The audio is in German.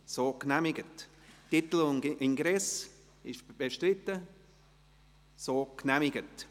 Sie sind mit 129 Ja- gegen 3 Nein-Stimmen einverstanden, dass man dies so aufnimmt.